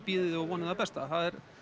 það besta það er